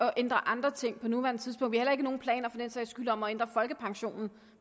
at ændre andre ting på nuværende tidspunkt skyld heller ikke nogen planer om at ændre folkepensionen